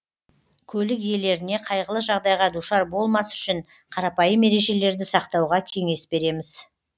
көлік иелеріне қайғылы жағдайға душар болмас үшін қарапайым ережелерді сақтауға кеңес береміз